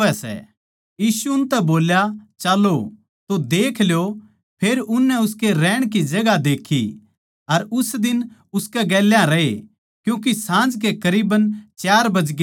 यीशु उनतै बोल्या चाल्लों तो देख लियो फेर उननै उसकै रहण की जगहां देक्खी अर उस दिन उसकै गेल्या रए क्यूँके साँझ के करीब चार बजगे थे